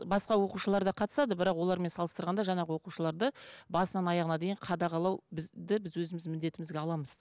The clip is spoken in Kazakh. басқа оқушылар да қатысады бірақ олармен салыстарғанда жаңағы оқушыларды басынан аяғына дейін қадағалау бізді біз өзіміздің міндетімізге аламыз